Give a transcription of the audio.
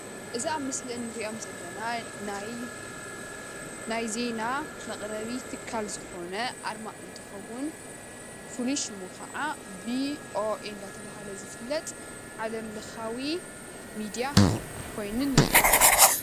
እዚ ኣብ ምስሊ ንሪኦም ዘለና ናይ ዜና መቅረቢ ትካል ዝኮነ ኣርማ እንትኸውን ፍሉይ ሽሙ ኸዓ ቪኦኤ እናተብሃለ ዝፍለጥ ዓለም ለኻዊ ሚድያ ኮይኑ ንሪኦ።